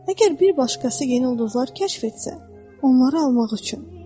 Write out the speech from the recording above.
Əgər bir başqası yeni ulduzlar kəşf etsə, onları almaq üçün.